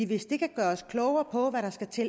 hvis den kan gøre os klogere på hvad der skal til